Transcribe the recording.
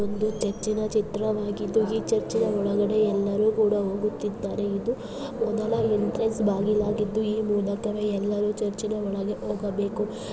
ಇದು ಚರ್ಚಿನ ಚಿತ್ರವಾಗಿದ್ದು ಈ ಚರ್ಚಿನಲ್ಲಿ ಎಲ್ಲರೂ ಒಳಗಡೆ ಹೋಗುತ್ತಿದ್ದಾರೆ ಇದು ಮುಂದಿನ ಎಂಟರ್ ಬಾಗಿಲಾಗಿದ್ದು ಮೊದಲ ಎಂಟ್ರೆನ್ಸ್ಎ್ಲು್ ಬಾಗಿಲು ಆಗಿದ್ದು ಈ ಮೂಲಕವೇ ಎಲ್ಲರೂ ಚರ್ಚಿನ ಒಳಗಡೆ. ಹೋಗಬೇಕು ಈ ಭಾಗದಿಂದ ಒಳಗಡೆ ಹೋಗಬೇಕು.